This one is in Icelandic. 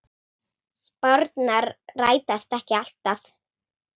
Spárnar rætast ekki alltaf.